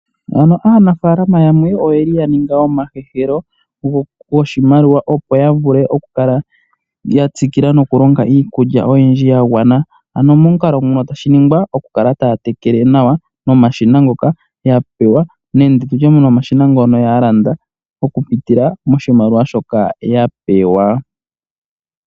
Aanafaalama yamwe oya ninga omahehelo goshimaliwa, opo ya vule okukala ya tsikila nokulonga iikulya oyindji ya gwana, ano momukalo mono tashi ningwa okukala ya tekela nawa nomashina ngoka ya pewa nenge ya landa noshimaliwa shoka ya pewa.